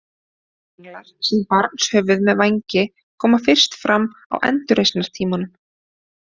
Englar sem barnshöfuð með vængi koma fyrst fram á endurreisnartímanum.